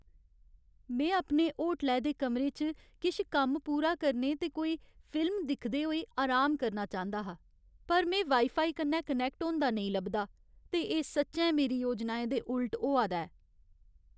में अपने होटलै दे कमरे च किश कम्म पूरा करने ते कोई फिल्म दिखदे होई अराम करना चांह्दा हा, पर में वाईफाई कन्नै कनैक्ट होंदा नेईं लभदा, ते एह् सच्चैं मेरी योजनाएं दे उल्ट होआ दा ऐ।